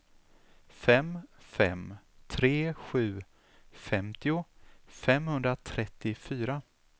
fem fem tre sju femtio femhundratrettiofyra